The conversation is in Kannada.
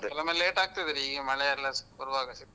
ಕೆಲೋವೊಮ್ಮೆ late ಆಗ್ತದೆ ರೀ ಈಗ ಮಳೆ ಎಲ್ಲ ಬರುವಾಗ ಸಿಕ್ಕಾಪಟ್ಟೆ.